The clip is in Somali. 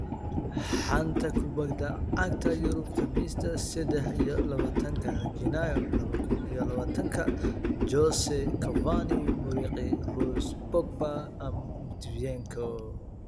Xanta Kubadda Cagta Yurub Khamiista sedex iyo labatanka janaayo laba kun iyo labatanka: Jose, Cavani, Muriqi, Rose, Pogba, Matviyenko